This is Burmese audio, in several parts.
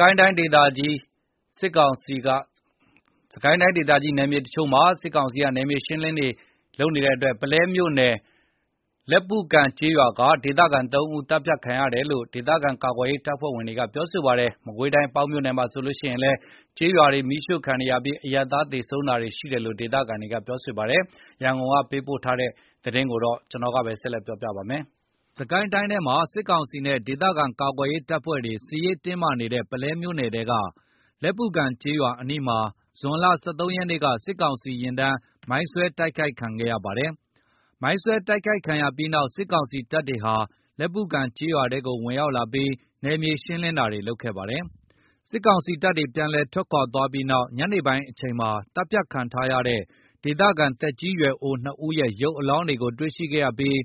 ကိုင်းတိုင်း ဒေသကြီး စစ်ကောင်စီက နယ်မြေရှင်းရေးလုပ်နေတဲ့ ပုလဲမြို့နယ် လက်ပုကန်ကျေးရွာက ဒေသခံ ၃ ဦး သတ်ဖြတ်ခံရတယ်လို့ ဒေသခံကာကွယ်ရေး တပ်ဖွဲ့တွေက ပြောပါတယ်။ မကွေးတိုင်း ပေါက်မြို့နယ်မှာဆိုရင်လည်း ကျေးရွာတွေ မီးရှို့ခံနေရပြီးအရပ်သားတွေ သေဆုံးတာ ရှိတယ်လို့ ဒေသခံတွေက ပြောပါတယ်။ ရန်ကုန်က ပေးပို့လာတဲ့ စစ်ကိုင်းနဲ့ မကွေးဘက်က အခြေအနေကို ကိုဇော်မိုးကျော် ကပြောပြပါမယ်။ စစ်ကိုင်းတိုင်းဒေသကြီးထဲမှာ စစ်ကောင်စီနဲ့ ဒေသခံကာကွယ်ရေး တပ်ဖွဲ့တွေ စစ်ရေး တင်းမာနေတဲ့ ပုလဲမြို့နယ်ထဲက လက်ပုကန်ကျေးရွာ အနီးမှာ ဇွန်လ ၁၃ ရက်က စစ်ကောင်စီ ယာဉ်တန်း မိုင်းဆွဲတိုက်ခိုက်ခံခဲ့ရပါတယ်။ မိုင်းဆွဲတိုက်ခိုက်ခံရပြိးနောက် စစ်ကောင်စီတပ်တွေဟာ လက်ပုကန်ကျေးရွာထဲကို ဝင်ရောက်လာပြီး နယ်မြေရှင်းလင်းတာတွေ လုပ်ခဲ့ပါတယ်။ စစ်ကောက်စီ တပ်တွေ ပြန်လည် ထွက်ခွါသွားချိန်ညနေပိုင်းမှာ သတ်ဖြတ်ခံထားရတဲ့ ဒေသခံ သက်ကြီးရွယ်အို ၂ဦးရဲ့ ရုပ်အလောင်းတွေကိုတွေ့ရှိခဲ့ပြီး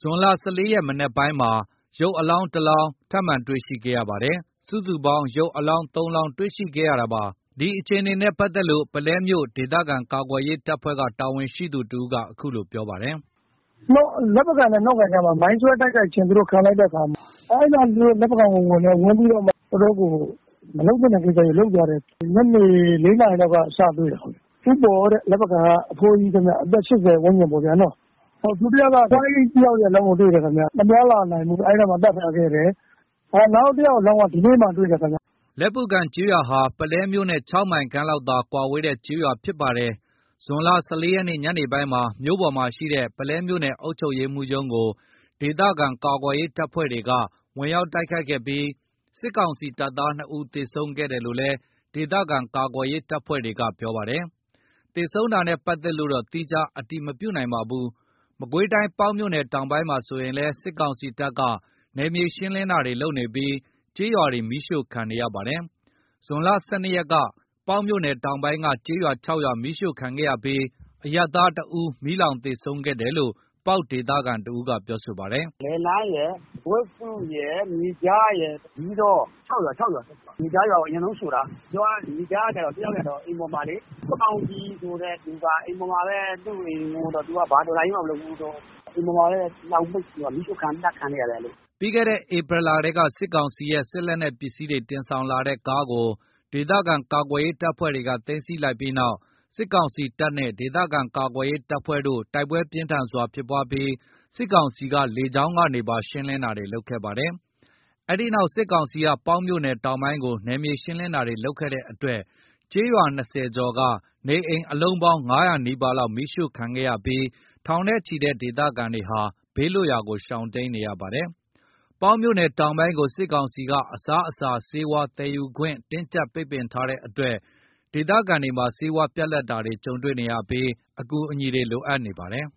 ဇွန်လ ၁၄ ရက် မနက်ပိုင်းမှာ ရုပ်အလောင်း တလောင်း စုစုပေါင်းရုပ်အလောင်း ၃ လောင်း တွေ့ရှိခဲ့တာပါ။ ဒီအခြေအနေနဲ့ ပတ်သက်လို့ ပုလဲမြို့ ဒေသခံကာကွယ်ရေး တပ်ဖွဲ့က တာဝန်ရှိသူတဦးက အခုလိုပြောပါတယ်။ “လက်ပုကန်နဲ့ နှောကန် ကြားမှာ သူတို့မိုင်းဆွဲတိုက်ခိုက်ခြင်း ခံလိုက်ရတဲ့အခါ အဲ့ဒီနောက်မှာ သူတို့ လက်ပုကန်ကိုဝင်တယ်။ ဝင်ပြီး တော့မှ တော်တော့်ကို မလုပ်သင့်တဲ့ကိစ္စကို လုပ်သလို ဖြစ်သွားတာပေါ့နော်။ ညနေ ၄ နာရီလောက်ကနေ စတွေ့တာ ပထမဆုံးတွေ့တာက ဦးပေါ်တဲ့ လက်ပုကန်က အဖိုးကြီး အသက် ၈၀ ဝန်းကျင်ပေါ့ဗျာ။ ဒုတိယက အဖွားကြီး တယောက်ရဲ့ အလောင်းကို တွေ့တယ်ခင်ဗျ။ မသွားလာနိုင်ဘူး အဲ့နားမှာ သတ်ထားခဲ့တယ်။ နောက်တယောက် အလောင်းက ဒီနေ့မှာ တွေ့တယ်ခင်ဗျ။” လက်ပုကန်ကျေးရွာဟာ ပုလဲမြို့နဲ့ ၆ မိုင်ခန့်လောက်သာ ကွာဝေးတဲ့ ကျေးရွာဖြစ်ပါတယ်။ ဇွန် ၁၄ ရက် ညနေပိုင်းမှာလည်း မြို့ပေါ်မှာရှိတဲ့ ပုလဲမြို့နယ် အုပ်ချုပ်ရေးမှူးရုံးကို ဒေသခံကာကွယ်ရေး တပ်ဖွဲ့ဝင်တွေက ဝင်ရောက်တိုက်ခိုက်ခဲ့ပြီး စစ်ကောင်စီ တပ်သား ၂ ဦး သေဆုံးခဲ့တယ်လို့လည်း ဒေသခံ ကာကွယ်ရေးတပ်ဖွဲ့တွေက ပြောပါတယ်။ သေဆုံးတာနဲ့ ပတ်သက်လို့တော့ သီးခြား အတည်မပြုနိုင်ပါဘူး။ မကွေးတိုင်း ပေါက်မြို့နယ် တောင်ပိုင်းမှာဆိုရင်လည်း စစ်ကောင်စီက နယ်မြေရှင်းလင်းတာတွေ လုပ်နေပြီး ကျေးရွာတွေ မီးရှို့ခံနေရပါတယ်။ ဇွန် ၁၂ ရက်က ပေါက်တောင်ပိုင်းက ကျေးရွာ ၆ ရွာ မီးရှို့ခံရပြီး အရပ်သား ၁ ဦး မီးလောင်သေဆုံးတယ်လို့ ပေါက်ဒေသခံတဦးက ပြောပါတယ်။ “လယ်လန်းရယ်၊ ဝက်စုရယ်၊ မြေခြားရယ်၊ ဇီးတောရယ် ၆ ရွာ။ မြေခြားရွာကို အရင်ဆုံးရှို့တာ။ ပါသွားတာမဟုတ်ဘူး အရင်ဆုံးရှို့တာ အဲ့နား ရွာနားကလူတွေ မြေခြားကတော့ ခင်မောင်ကြည်၊ ဦးခင်မောင်ကြည်ဆိုတဲ့သူက အိမ်ပေါ်မှာပဲ သူ့အိမ်ပေါ်မှာပဲ သူက ဘာတော်လှန်ရေးမှ လုပ်တာမဟုတ်ဘူး အိမ်ပေါ်မှာပဲနေတော့ အိမ်ပေါ်မှာပဲ မီးရှို့အသတ်ခံလိုက်ရတယ်။” ပြီးခဲ့တဲ့ ဧပြီလကလည်း စစ်ကောင်စီရဲ့ လက်နက်တပ်ဆင်ရာမှာ အသုံးပြုတဲ့ ပစ္စည်းတွေ တင်ဆောင်လာတဲ့ ကားကို ဒေသခံကာကွယ်ရေး တပ်ဖွဲ့တွေက သိမ်းဆည်းလိုက်ပြီးတဲ့နောက် စစ်ကောင်စီတပ်နဲ့ ဒေသခံကာကွယ်ရေးတပ်ဖွဲ့တို့ တိုက်ပွဲ ပြင်းထန်စွာ ဖြစ်ပွားပြီး စစ်ကောင်စီက လေကြောင်းကနေပါ ရှင်းလင်းတာတွေ လုပ်ခဲ့ပါတယ်။ အဲ့ဒီနောက် စစ်ကောင်စီက ပေါက်မြို့နယ်တောင်ပိုင်းကို နယ်မြေရှင်းလင်းတာတွေ လုပ်တဲ့အတွက် ကျေးရွာ ၂၀ ကျော် က နေအိမ် ၅၀၀ နီးပါး မီးရှို့ခံရပြီး ထောင်နဲ့ ချီတဲ့ ဒေသခံတွေဟာ ဘေးလွတ်ရာ တိမ်းရှောင်နေရပါတယ်။ ပေါက်မြို့နယ်တောင်ပိုင်းကို စစ်ကောင်စီက အစားအစာ ဆေးဝါး သယ်ယူခွင့် တင်းကြပ်ထားတဲ့အတွက် ဒေသခံတွေမှာ ဆေးဝါး ပြတ်လပ်တာတွေ ကြုံတွေ့နေရပြီး အကူအညီတွေ လိုအပ်နေပါတယ်